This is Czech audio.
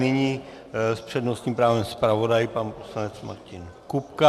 Nyní s přednostním právem zpravodaj pan poslanec Martin Kupka.